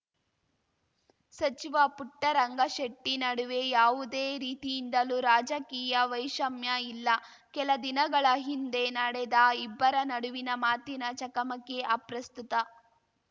ಸಚಿವ ಪುಟ್ಟರಂಗಶೆಟ್ಟಿನಡುವೆ ಯಾವುದೇ ರೀತಿಯಿಂದಲೂ ರಾಜಕೀಯ ವೈಷ್ಯಮ್ಯ ಇಲ್ಲ ಕೆಲದಿನಗಳ ಹಿಂದೆ ನಡೆದ ಇಬ್ಬರ ನಡುವಿನ ಮಾತಿನ ಚಕಮಕಿ ಅಪ್ರಸ್ತುತ